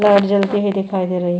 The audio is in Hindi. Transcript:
लाइट जलती हुई दिखाई दे रही है।